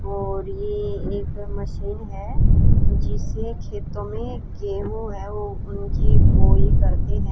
और ये एक मशीन है जिसे खेतों में गेहूं है वो उनकी बोई करते हैं।